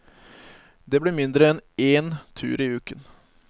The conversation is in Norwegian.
Det blir mindre enn én tur i uken.